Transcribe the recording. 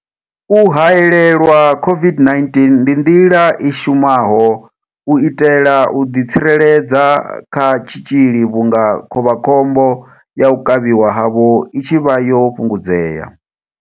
U haelelwa COVID-19 ndi nḓila i shumaho u itela u ḓi tsireledza kha tshitzhili vhunga khovhakhombo ya u kavhiwa havho i tshi vha yo fhungudzea.